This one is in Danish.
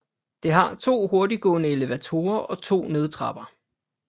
Det har to hurtiggående elevatorer og 2 nødtrapper